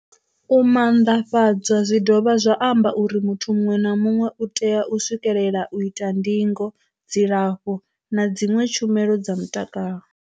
U manḓafhadzwa zwi dovha zwa amba uri muthu muṅwe na muṅwe u tea u swikelela u ita ndingo, dzilafho na dziṅwe tshumelo dza mutakalo.